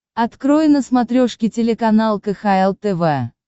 открой на смотрешке телеканал кхл тв